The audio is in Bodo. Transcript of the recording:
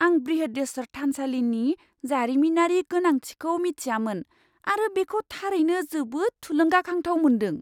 आं बृहदेश्वर थानसालिनि जारिमिनारि गोनांथिखौ मिथियामोन आरो बेखौ थारैनो जोबोद थुलुंगाखांथाव मोन्दों!